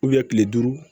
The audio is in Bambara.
kile duuru